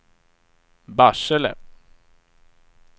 Barsele